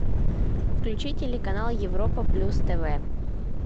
включи телеканал европа плюс тв